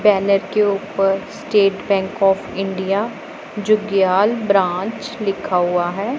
Palette के ऊपर State Bank of India Jugyal branch लिखा हुआ है।